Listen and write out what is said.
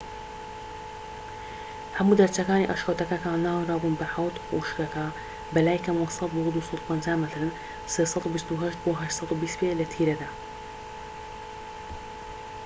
هەموو دەرچەکانی ئەشکەوتەکە کە ناونرابوون بە حەوت خوشکەکە بەلای کەمەوە ١٠٠ بۆ ٢٥٠ مەترن ٣٢٨ بۆ ٨٢٠ پێ لە تیرەدا